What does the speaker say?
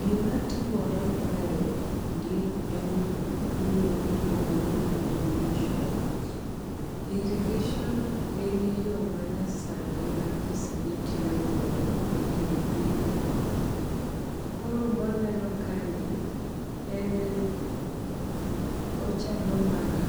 Gimatimore kaendi e ni iluongoni irrigation, irrigation en yo manyasani ma ji sani tiyogodo e yor pith, koro mwaneno kaeni en ochalo mana